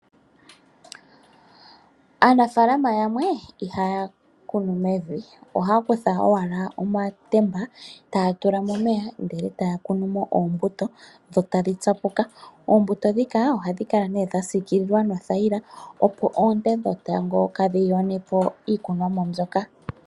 Aanafaalama yamwe ihaya kunu mevi. Ohaya kutha owala omatemba, taya tu la mo omeya, ndele taya kunu mo oombuto, dho tadhi tsapuka. Oombutu dhika, ohadhi kala nee dha siikilwa no thaila opo oonte dhetango kaadhi yonepo iikunomwa mbyoka.